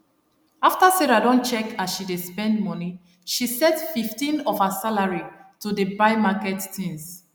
after sarah don check as she dey spend money she set 15 of her salary to dey buy market tins